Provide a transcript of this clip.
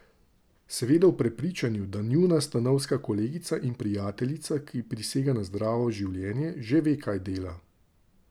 Seveda v prepričanju, da njuna stanovska kolegica in prijateljica, ki prisega na zdravo življenje, že ve, kaj dela.